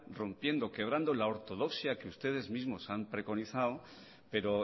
rompiendo quebrando la ortodoxia que usted mismos han preconizado pero